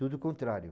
Tudo o contrário.